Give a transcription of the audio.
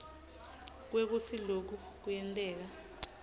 kwekutsi loku kuyenteka